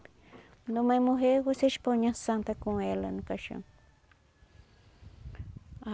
Quando a mãe morrer, vocês põe a santa com ela no caixão.